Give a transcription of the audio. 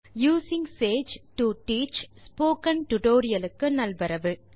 using Sage to teach tutorial க்கு நல்வரவு